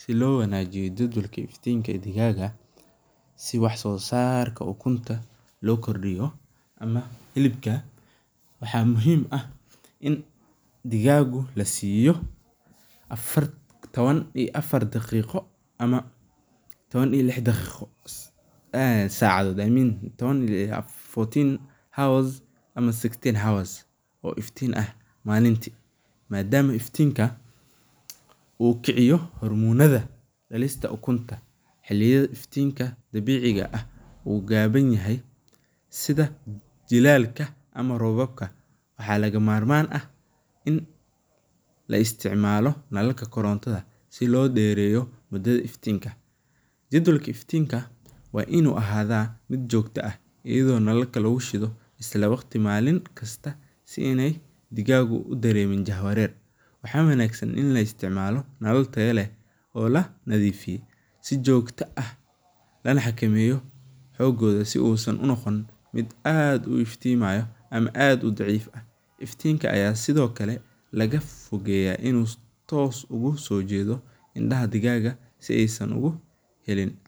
Si loo wanaajiyo si loo kordiyo hilibka, waxaa muhiim ah in digaaga lasiiyo taban iyo afar saac oo iftiin ah malinti, sida jilaalka iyo digaaga waxaa muhiim ah in la isticmaalo iftiinka korontada, si joogta ah, mid aad u iftimayo ama aad udaciif ah, iftiinka ayaa sido kale laga fogeeya inuu si toos ah oga soo jeedo indaha digaaga, si uusan ukenin